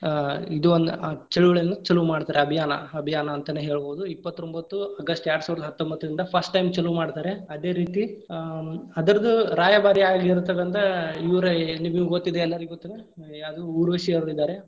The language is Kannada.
ಆ ಇದು ಒಂದ ಆ ಚಳುವಳಿಯನ್ನ್‌ ಚಲು ಮಾಡ್ತಾರ, ಅಭಿಯಾನ ಅಭಿಯಾನ ಅಂತನ್‌ ಹೇಳಬೋದು ಇಪ್ಪತ್ರೊಂಭತ್ತು August ಎರಡ ಸಾವಿರದ ಹತ್ತೊಂಭತ್ತರಿಂದ first time ಚಲು ಮಾಡ್ತಾರೆ, ಅದೇ ರೀತಿ ಆ ಅದರ್ದ್ ರಾಯಭಾರಿಯಾಗಿರತಕ್ಕಂತಹ ಆ ಇವ್ರ್ ನಿಮಗ್‌ ಗೊತ್ತಿದೆ ಎಲ್ಲಾರ್ಗು ಗೊತ್ತಿದೆ, ಆ ಯಾವುದು ಊರ್ವಶಿ ಅವ್ರ ಇದಾರೆ.